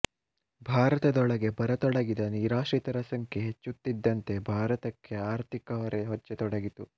ಭಾರತದೊಳಕ್ಕೆ ಬರತೊಡಗಿದ ನಿರಾಶ್ರಿತರ ಸಂಖ್ಯೆ ಹೆಚ್ಚುತ್ತಿದ್ದಂತೆ ಭಾರತಕ್ಕೆ ಆರ್ಥಿಕಹೊರೆ ಹೆಚ್ಚತೊಡಗಿತು